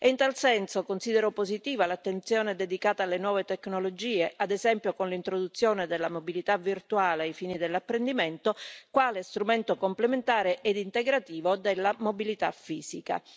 In tal senso considero positiva l'attenzione dedicata alle nuove tecnologie, ad esempio con l'introduzione della mobilità virtuale ai fini dell'apprendimento, quale strumento complementare ed integrativo della mobilità fisica.